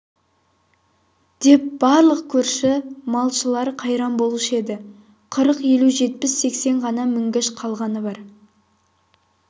деп барлық көрші малшылар қайран болушы еді қырық-елу жетпіс-сексен ғана мінгіш қалғаны бар